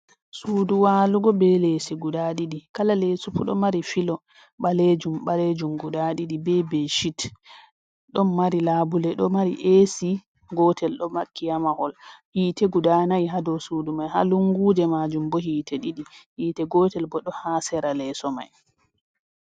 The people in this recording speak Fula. Sudu walugo ɓe lesi guda ɗiɗi, kala leso fuu do mari filo ɓalejum-ɓalejum guda ɗiɗi be beshet. Ɗon mari labule, ɗo mari esi gotel ɗo makki ha mahol. Hite guda nay ha dau sudu mai, ha lunguje majum bo hite ɗiɗi, hite gotel bo ɗo ha sera leso mai.